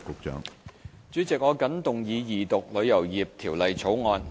主席，我謹動議二讀《旅遊業條例草案》。